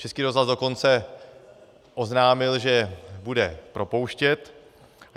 Český rozhlas dokonce oznámil, že bude propouštět.